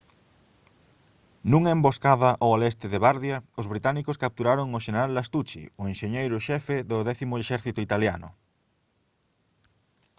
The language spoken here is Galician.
nunha emboscada ao leste de bardia os británicos capturaron ao xeneral lastucci o enxeñeiro xefe do décimo exército italiano